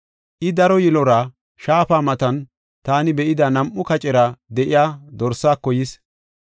I, daro yilora, shaafa matan taani be7ida nam7u kacera de7iya dorsaako yis.